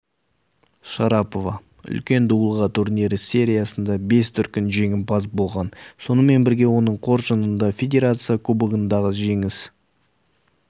шарапова үлкен дуылға турнирі сериясында бес дүркін жеңімпаз болған сонымен бірге оның қоржынында федерация кубогындағы жеңіс